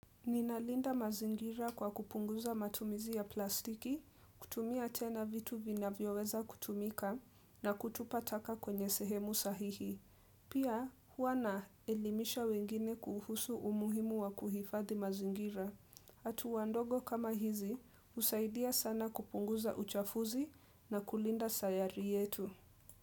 Ninalinda mazingira kwa kupunguza matumizi ya plastiki, kutumia tena vitu vina vyoweza kutumika na kutupa taka kwenye sehemu sahihi. Pia, huana elimisha wengine kuhusu umuhimu wa kuhifadhi mazingira. Hatua ndogo kama hizi, husaidia sana kupunguza uchafuzi na kulinda sayari yetu.